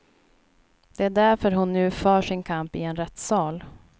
Det är därför hon nu för sin kamp i en rättsal.